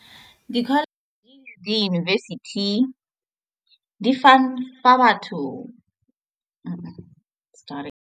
Di-college di university di fana ka batho sorry.